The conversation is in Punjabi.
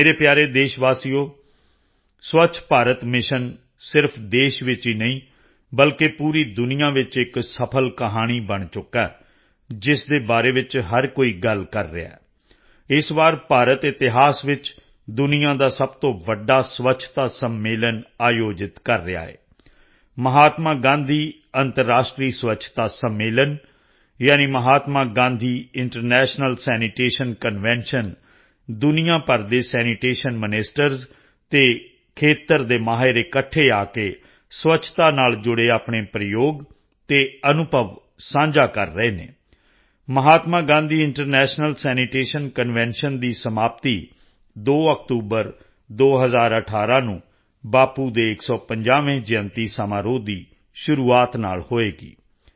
ਮੇਰੇ ਪਿਆਰੇ ਦੇਸ਼ ਵਾਸੀਓ ਸਵੱਛ ਭਾਰਤ ਮਿਸ਼ਨ ਸਿਰਫ਼ ਦੇਸ਼ ਵਿੱਚ ਹੀ ਨਹੀਂ ਬਲਕਿ ਪੂਰੀ ਦੁਨੀਆ ਵਿੱਚ ਇੱਕ ਸਫ਼ਲ ਕਹਾਣੀ ਬਣ ਚੁੱਕਾ ਹੈ ਜਿਸ ਬਾਰੇ ਹਰ ਕੋਈ ਗੱਲ ਕਰ ਰਿਹਾ ਹੈ ਇਸ ਵਾਰ ਭਾਰਤ ਇਤਿਹਾਸ ਵਿੱਚ ਦੁਨੀਆ ਦਾ ਸਭ ਤੋਂ ਵੱਡਾ ਸਵੱਛਤਾ ਸੰਮੇਲਨ ਆਯੋਜਿਤ ਕਰ ਰਿਹਾ ਹੈ ਮਹਾਤਮਾ ਗਾਂਧੀ ਅੰਤਰਰਾਸ਼ਟਰੀ ਸਵੱਛਤਾ ਸੰਮੇਲਨ ਯਾਨੀ Mahatma Gandhi international sanitation convention ਦੁਨੀਆ ਭਰ ਦੇ ਸੈਨੀਟੇਸ਼ਨ ਮਿਨਿਸਟਰ ਅਤੇ ਖੇਤਰ ਦੇ ਮਾਹਰ ਇਕੱਠੇ ਆ ਕੇ ਸਵੱਛਤਾ ਨਾਲ ਜੁੜੇ ਆਪਣੇ ਪ੍ਰਯੋਗ ਅਤੇ ਅਨੁਭਵ ਸਾਂਝਾ ਕਰ ਰਹੇ ਹਨ Mahatma Gandhi international sanitation convention ਦੀ ਸਮਾਪਤੀ 2 ਅਕਤੂਬਰ 2018 ਨੂੰ ਬਾਪੂ ਦੇ 150ਵੇਂ ਜਯੰਤੀ ਸਮਾਰੋਹ ਦੀ ਸ਼ੁਰੂਆਤ ਨਾਲ ਹੋਵੇਗੀ